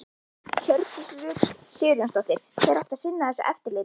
Hjördís Rut Sigurjónsdóttir: Hver átti að sinna þessu eftirliti?